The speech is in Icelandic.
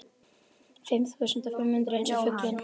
Fimm þúsund og fimm hundruð eins og fuglinn.